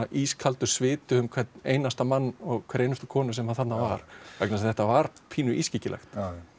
ískaldur sviti um hvern einasta mann og konu sem þarna var vegna þess að þetta var pínu ískyggilegt